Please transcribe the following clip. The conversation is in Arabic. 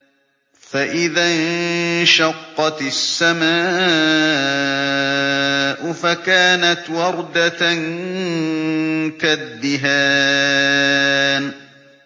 فَإِذَا انشَقَّتِ السَّمَاءُ فَكَانَتْ وَرْدَةً كَالدِّهَانِ